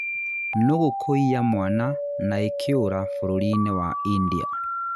nũgũ kũiiya mwana na ĩkĩũra, bũrũri inĩ wa India.